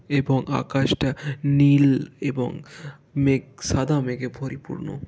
এবং আকাশটা নীল এবং মেঘ সাদা মেঘে পরিপূর্ণ।